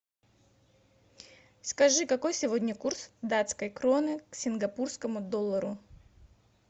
скажи какой сегодня курс датской кроны к сингапурскому доллару